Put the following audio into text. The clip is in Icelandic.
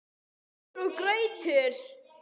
SÚPUR OG GRAUTAR